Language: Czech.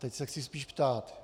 Teď se ale chci ptát.